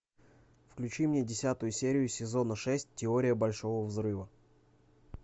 включи мне десятую серию сезона шесть теория большого взрыва